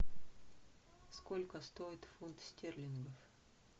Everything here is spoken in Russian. сколько стоит фунт стерлингов